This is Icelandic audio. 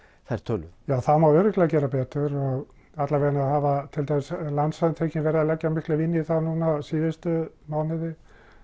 þær tölur það má örugglega gera betur og alla vegana hafa til dæmis Landssamtökin verið að leggja mikla vinnu í það núna síðustu mánuði